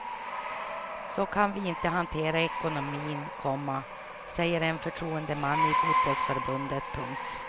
Så kan vi inte hantera ekonomin, komma säger en förtroendeman i fotbollförbundet. punkt